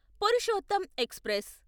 Purushottam express